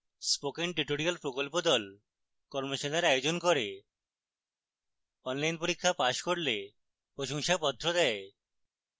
spoken tutorial প্রকল্প the কর্মশালার আয়োজন করে অনলাইন পরীক্ষা পাস করলে প্রশংসাপত্র দেয়